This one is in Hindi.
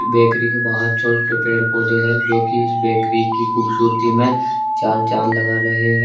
बैकरी के बाहर छोटे छोटे पेड़ पौधे है जो कि इस बैकरी की खूबसूरती में चार चांद लगा रहे हैं।